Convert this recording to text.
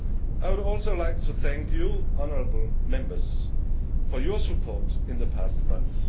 I would also like to thank you, honourable Members, for your support in the past months.